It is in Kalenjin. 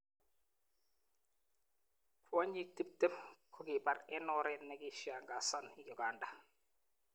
Kwonyik 20 kokibaar eng oreet nekiishangasan uganda.